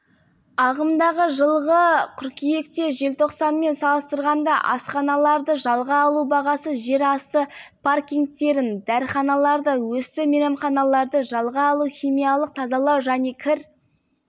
ағымдағы жылғы қыркүйекте желтоқсанмен салыстырғанда асханаларды жалға алу бағасы жер асты паркингтерін дәріханаларды өсті мейрамханаларды жалға алу химиялық тазалау және кір